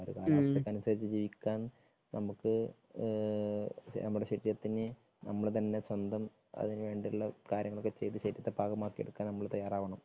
അപ്പോ എഅ ഒരു കാലാവസ്ഥയ്ക്ക് അനുസരിച്ച് ജീവിക്കാൻ നമുക്ക് നമ്മുടെ ശരീരത്തിന് നമ്മള് തന്നെ സ്വന്തം അതിന് വേണ്ടിയുള്ള കാര്യങ്ങളൊക്കെ ചെയ്ത് പാകമാക്കി എടുക്കാൻ നമ്മള് തയ്യാറാകണം.